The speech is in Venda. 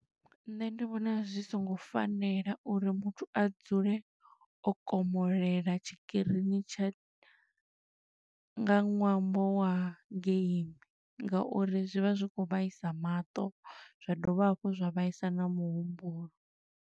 Nṋe ndi vhona zwi songo fanela uri muthu a dzule o komolela tshikirini tsha nga ṅwambo wa game, nga uri zwi vha zwi khou vhaisa maṱo, zwa dovha hafhu zwa vhaisa na muhumbulo.